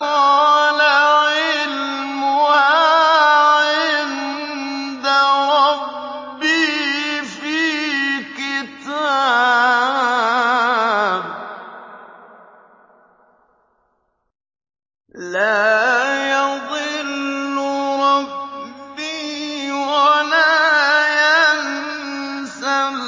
قَالَ عِلْمُهَا عِندَ رَبِّي فِي كِتَابٍ ۖ لَّا يَضِلُّ رَبِّي وَلَا يَنسَى